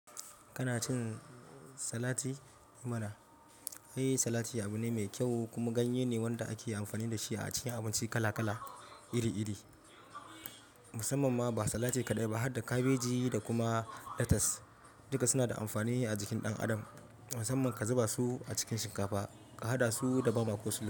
Kana cin salati? Eh mana Ai salati abu ne mai kyau kuma ganye ne wanda ake amfani da shi a cikin abinci kala kala iri iri. Musamman ma ba salati kaɗai ba har da kabeji da kuma lettuce. Duka suna da amfani a jikin ɗan adam. Musamman ka zuba su a cikin shinkafa, ka haɗa su da bama.